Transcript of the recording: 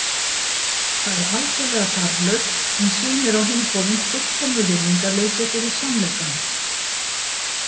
Það er algerlega þarflaust en sýnir á hinn bóginn fullkomið virðingarleysi fyrir sannleikanum.